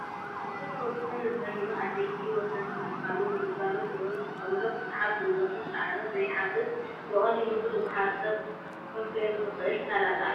ካብቶም ንወድሰብ ንጥዕንኡ ኣድለይትን ወሰንትን ዝበሃሉ ንግልጋሎት ምግብነት ዝጥቀመሎም ብዙሕ ጉልበትን ፃዕርን ዘይሓትት ብቐሊሉ ኩሉ ማሕበረሰብ ከፍርዮም ዝኽእል ሰላጣ እዩ።